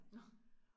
Nåh